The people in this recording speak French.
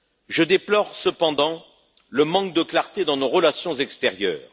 Je déplore, cependant, le manque de clarté dans nos relations extérieures.